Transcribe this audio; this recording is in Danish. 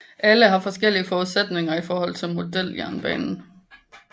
Alle har forskellige forudsætninger i forhold til modeljernbanen